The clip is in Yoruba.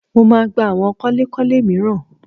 Mo máa gba àwọn kọ́lékọ́lé mìíràn